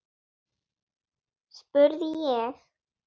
spurði ég.